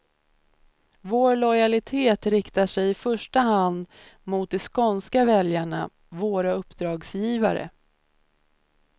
Vår lojalitet riktar sig i första hand mot de skånska väljarna, våra uppdragsgivare.